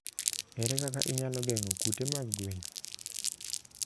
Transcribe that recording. Ere kaka inyalo geng'o kute mag gwen?